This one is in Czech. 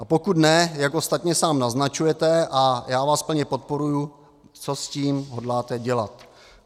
A pokud ne, jak ostatně sám naznačujete, a já vás plně podporuji, co s tím hodláte dělat?